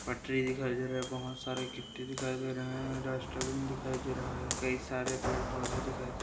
पटरी दिखाई दे रहा है बहुत सारे गिट्टी दिखाई दे रहा है डस्टबिन दिखाई दे रहा है कई सारे पेड़ पौधे दिखाई दे रहा है।